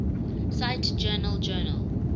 cite journal journal